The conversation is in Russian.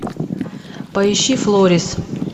поищи флорис